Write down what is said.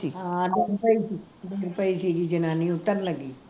ਆਹ ਡਿੱਗ ਪਈ ਸੀ ਗੀ ਜਨਾਨੀ ਉਤਰ ਲੱਗੀ